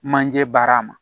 Manje baara ma